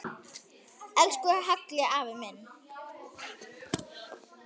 Elsku Halli afi minn.